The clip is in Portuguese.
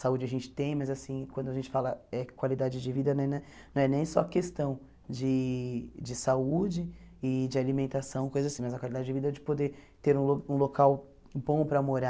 Saúde a gente tem, mas assim quando a gente fala eh em qualidade de vida, não é na não é nem só questão de de saúde e de alimentação, coisa assim mas a qualidade de vida de poder ter um lo um local bom para morar,